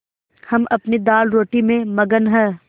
हम अपनी दालरोटी में मगन हैं